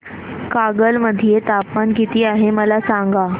कागल मध्ये तापमान किती आहे मला सांगा